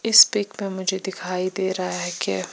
इस पिक में मुझे दिखाई देरा है के--